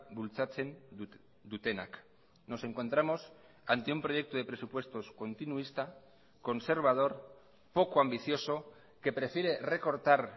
bultzatzen dutenak nos encontramos ante un proyecto de presupuestos continuista conservador poco ambicioso que prefiere recortar